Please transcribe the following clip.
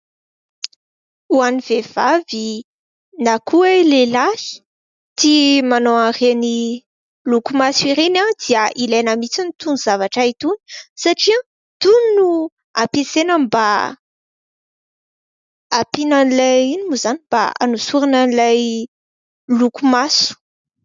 Ho an'ny vehivavy na koa lehilahy tia manao an'ireny lokomaso ireny dia ilaina mihitsy itony zavatra itony satria itony no ampiasaina mba ampiana an'ilay inona moa izany ? Mba hanosorana an'ilay lokomaso.